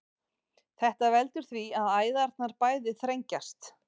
þetta veldur því að æðarnar bæði þrengjast